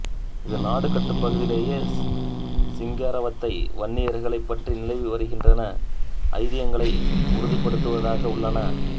இது நாடுகாட்டுப் பகுதியிலே சிங்காரவத்தை வன்னியர்களைப் பற்றி நிலவி வருகின்ற ஐதிகங்களை உறுதிப்படுத்துவதாக உள்ளன